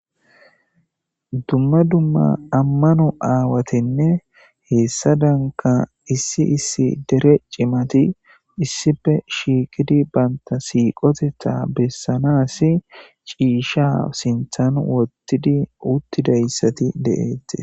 dumma dumma ammano aawatenne heessa danka issi issi dere cimati issipe shiiqidi banta siiqotetha bessanas ciisha sinthan wottidi uttidayssati deeette